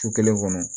Su kelen kɔnɔ